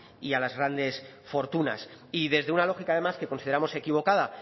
y a las grandes fortunas y desde una lógica además que consideramos equivocada